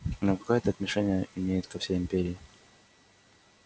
но какое это имеет отношение ко всей империи